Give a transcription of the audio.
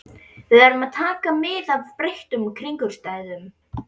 Við verðum að taka mið af breyttum kringumstæðum.